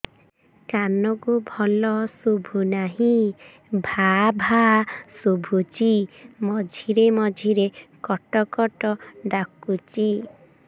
କାନକୁ ଭଲ ଶୁଭୁ ନାହିଁ ଭାଆ ଭାଆ ଶୁଭୁଚି ମଝିରେ ମଝିରେ କଟ କଟ ଡାକୁଚି